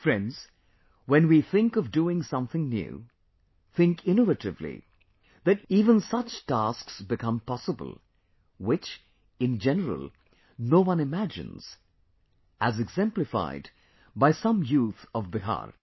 Friends, when we think of doing something new, think innovatively, then even such tasks become possible, which, in general, no one imagines, as exemplified by some youth of Bihar